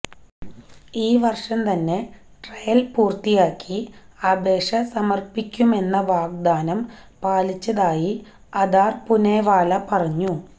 ഈ വര്ഷം തന്നെ ട്രയല് പൂര്ത്തിയാക്കി അപേഷ സമര്പ്പിക്കുമെന്ന വാഗ്ദാനം പാലിച്ചതായി അദാര് പുനെവാല പറഞ്ഞു